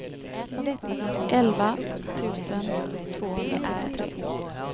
elva tusen tvåhundrasjuttiotre